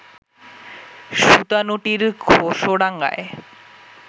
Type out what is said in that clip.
সুতানুটির ঘেষোডাঙায়